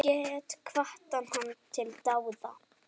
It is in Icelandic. Get hvatt hana til dáða.